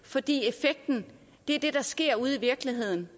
fordi effekten er det der sker ude i virkeligheden